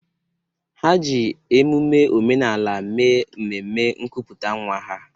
Ha ji emume omenala mee mmemme nkuputa nwa ha.